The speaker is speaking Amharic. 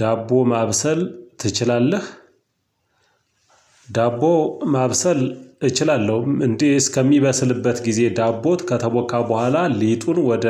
ዳቦ ማብሰል ትችላለህ? ዳቦ ማብሰል እችላለሁም እንዲህ እስከሚበስልበት ጊዜ ዳቦት ከተቦካ በኋላ ሊጡን ወደ